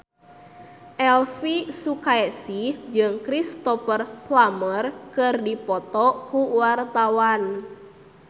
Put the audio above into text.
Elvy Sukaesih jeung Cristhoper Plumer keur dipoto ku wartawan